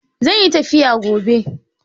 Zan yi tafiya gobe.